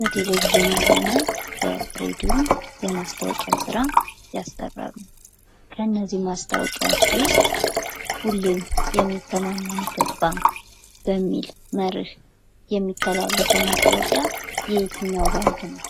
በቴሌቪዥንም ሆነ በሬድዮ የማስታወቂያ ስራ ያሰራሉ ። ከእነዚህ ማስታወቂያዎች ውስጥ ሁሌም የሚተማመኑበት ባንክ በሚል መርህ የሚተላለፈው ማስታወቂያ የየትኛው ባንክ ነው?